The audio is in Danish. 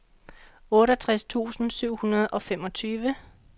otteogtres tusind syv hundrede og femogtyve